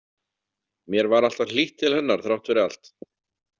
Mér var alltaf hlýtt til hennar þrátt fyrir allt.